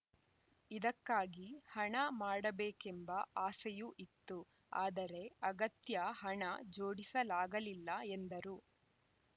ಇದಕ್ಕಾಗಿ ಹಣ ಮಾಡಬೇಕೆಂಬ ಆಸೆಯೂ ಇತ್ತು ಆದರೆ ಅಗತ್ಯ ಹಣ ಜೋಡಿಸಲಾಗಲಿಲ್ಲ ಎಂದರು